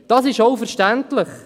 Dies ist auch verständlich: